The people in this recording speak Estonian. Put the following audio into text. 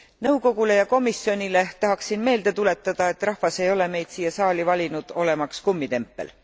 Nõukogule ja komisjonile tahaksin meelde tuletada, et rahvas ei ole meid siia saali valinud olemaks kummitempel.